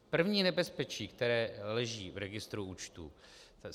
První nebezpečí, které leží v registru účtů.